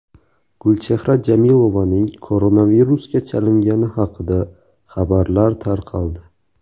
Gulchehra Jamilovaning koronavirusga chalingani haqida xabarlar tarqaldi.